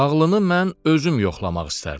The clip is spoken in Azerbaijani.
Ağlını mən özüm yoxlamaq istərdim.